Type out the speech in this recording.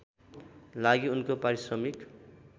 लागि उनको पारिश्रमिक